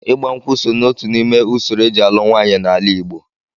Ịgba nkwụ so ná otu n'ime usoro eji alụ nwaanyị n'ala igbo